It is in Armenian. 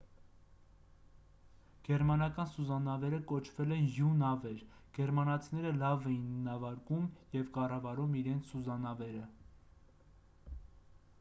գերմանական սուզանավերը կոչվել են յու նավեր գերմանացիները լավ էին նավարկում և կառավարում իրենց սուզանավերը